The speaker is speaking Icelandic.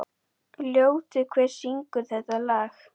Ljótur, hver syngur þetta lag?